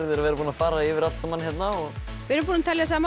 að vera búnir að fara yfir allt saman hérna við erum búin að telja saman